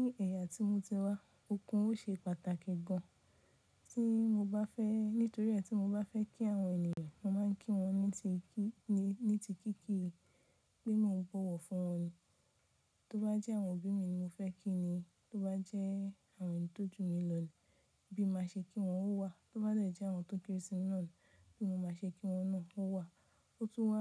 Ní ẹ̀yà tí mo ti wá, okun ó ṣe pàtàkì gan an tí mo bá fẹ́ nítorí ẹ́ tí mo bá fẹ́ kí àwọn ènìyàn, mo máa ń kí wọn ní ti kí, ní ti kíkí pé mo bọ̀wọ̀ fún wọn ni. Tó bá jẹ́ àwọn òbí mi ni mo fẹ́ kí ni, tó bá jẹ́ àwọn tó jù mi lọ ni, bí nma ṣe kí wọn ó wà. Tó bá jẹ́ àwọn tó kéré sí mi náà ni, bí mo máa ṣe kí wọn náà ó wà. Ó tún wá